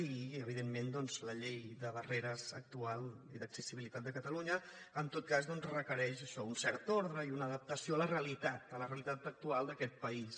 i evidentment la llei de barreres actual i d’accessibilitat de catalunya en tot cas doncs requereix això un cert ordre i una adaptació a la realitat a la realitat actual d’aquest país